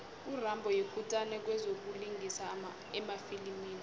urambo yikutani kwezokulingisa emafilimini